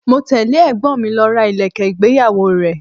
Mo tẹle ẹ̀gbọ́n mi lọ ra ilẹ̀kẹ̀ ìgbéyàwó rẹ.